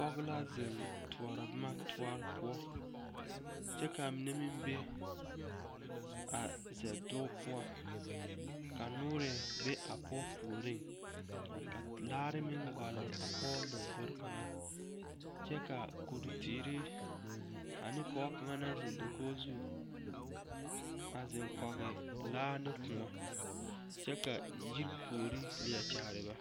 Pɔge la zeŋ toɔrɔ boma toɔre poɔ kyɛ ka a mine meŋ be a zɛdoge poɔ ka nɔɔre be a pɔge puori ka laare meŋ gole a pɔge lombori kaŋa kyɛ ka koduteere ane pɔge kaŋa naŋ seŋ dakogi zu a zeŋ kɔge laa ne kõɔ kyɛ ka yiri puori leɛ kyaare ba.